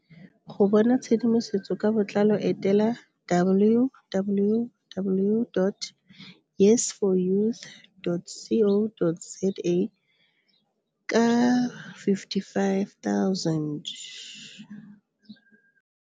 Go bona tshedimosetso ka botlalo etela www.yes4youth.co.za. Ka R55 000.